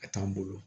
A t'an bolo